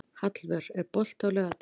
Hallvör, er bolti á laugardaginn?